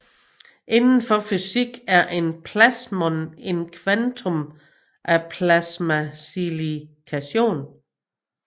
Indenfor fysik er en plasmon en kvantum af plasmaoscillation